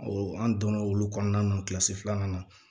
an donna olu kɔnɔna na filanan na